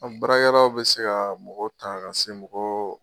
An baarakɛ yɔrɔ bɛ se ka mɔgɔw ta ka se mɔgɔw.